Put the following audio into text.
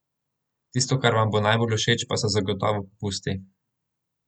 Tisto, kar vam bo najbolj všeč pa so zagotovo popusti!